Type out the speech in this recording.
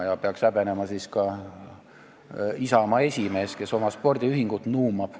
Seda peaks häbenema ka Isamaa esimees, kes oma spordiühingut nuumab.